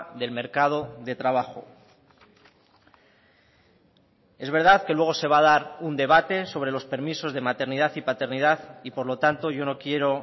del mercado de trabajo es verdad que luego se va a dar un debate sobre los permisos de maternidad y paternidad y por lo tanto yo no quiero